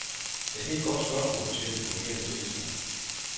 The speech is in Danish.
Ja, det er et godt spørgsmål, siger den fungerende tillidsmand.